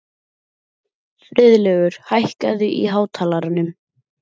Friðlaugur, hækkaðu í hátalaranum.